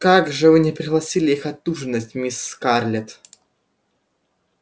как же вы не пригласили их отужинать мисс скарлетт